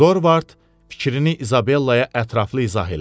Dorvard fikrini İzabellaya ətraflı izah elədi.